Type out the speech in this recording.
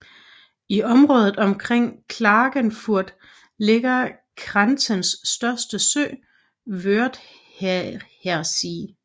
I området omkring Klagenfurt ligger Kärntens største sø Wörthersee